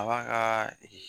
A b'a ka